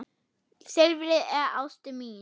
Silfrið er ástin mín.